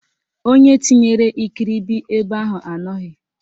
Onye tinyere ikiribi ebe ahụ anọghị